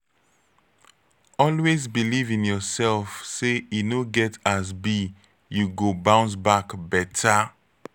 always beliv in urself say e no get as bi yu go bounce back beta